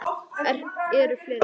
Eru fleiri?